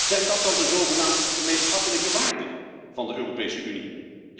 Zijn dat dan de zogenaamd gemeenschappelijke waarden van de Europese Unie?